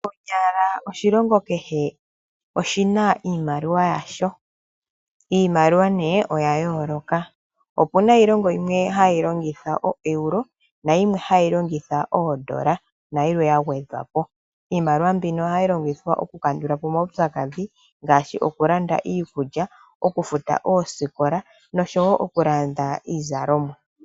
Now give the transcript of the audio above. Konyala oshilongo kehe oshina iimaliwa yaasho, niimaliwa oya yooloka opuna iilongo yimwe hailongitha oEuro nayilwe hayi longita oondola nayilwe yagwedhwapo. Iimaliwa mbika ohayi longithwa okulanda omaupyakadhi ngaashi okulanda, iikulya, okufuta oosikola, nosho woo okulanda iizalomwa.